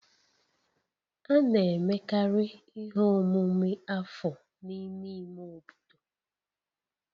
A na-emekarị ihe omume afọ n'ime ime obodo